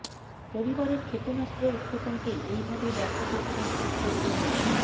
রবিবারের ক্ষেপণাস্ত্র উৎক্ষেপণকে এই ভাবেই ব্যাখ্যা করছেন উত্তর কোরিয়ার